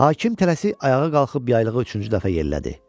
Hakim tələsik ayağa qalxıb yaylığı üçüncü dəfə yerlədi.